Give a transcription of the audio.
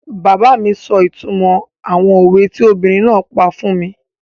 Bàbá mi sọ ìtumọ̀ àwọn òwe tí obìnrin náà pa fún mi